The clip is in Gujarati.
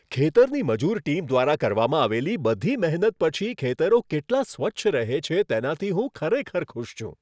ખેતરની મજૂર ટીમ દ્વારા કરવામાં આવેલી બધી મહેનત પછી ખેતરો કેટલા સ્વચ્છ રહે છે તેનાથી હું ખરેખર ખુશ છું.